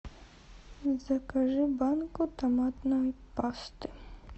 закажи банку томатной пасты